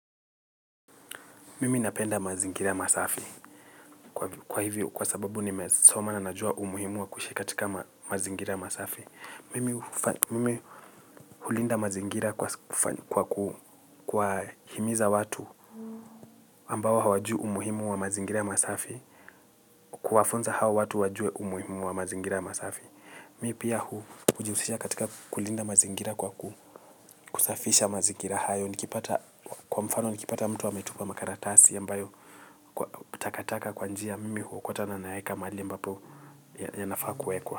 Mimi napenda mazingira masafi. Kwa hivyo, kwa sababu nimesoma na najua umuhimu wa kuishi katika mazingira masafi. Mimi hulinda mazingira kwa kuwahimiza watu ambao hawajui umuhimu wa mazingira masafi, kuwafunza hawa watu wajue umuhimu wa mazingira masafi. Mi pia hujihusisha katika kulinda mazingira kwa kusafisha mazingira hayo nikipata kwa mfano nikipata mtu ametupa makaratasi ambayo takataka kwa njia mimi huokota na naweka mahali ambapo yanafaa kuwekwa.